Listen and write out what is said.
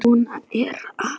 Svona er afi.